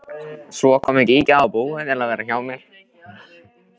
Svo komu Gígja og Búi til að vera hjá mér.